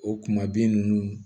O kuma bin ninnu